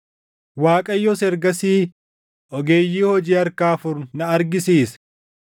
Waaqayyos ergasii ogeeyyii hojii harkaa afur na argisiise.